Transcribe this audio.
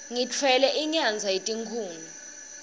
ngitfwele inyadza yetikhuni